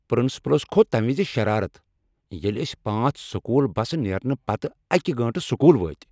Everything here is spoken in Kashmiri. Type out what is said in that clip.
پرنسپلس کھوٚت تمہ وز شرارتھ، ییٚلہ أسۍ پانٛژ سکول بس نیرنہٕ پتہٕ اکہ گٲنٛٹہِ سوٚکوٗل وٲتۍ۔